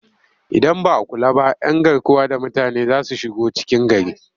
Idan ba a kula ba 'yan garkuwa da mutane za su shigo cikin gari